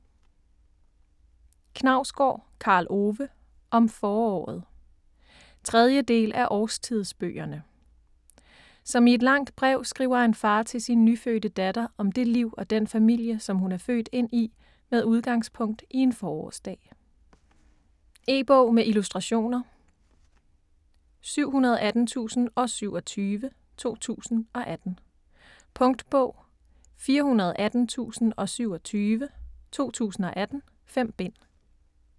Knausgård, Karl Ove: Om foråret 3. del af Årstidsbøgerne. Som i et langt brev skriver en far til sin nyfødte datter om det liv og den familie, som hun er født ind i med udgangspunkt i en forårsdag. E-bog med illustrationer 718027 2018. Punktbog 418027 2018. 5 bind.